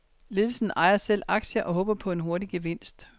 Ledelsen ejer selv aktier og håber på en hurtig gevinst.